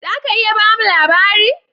"Zaka iya bamu labari?